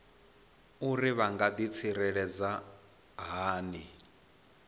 uri vha nga ḓitsireledza hani